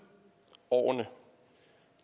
årene